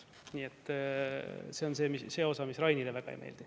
Nii et see on see osa, mis Rainile väga ei meeldi.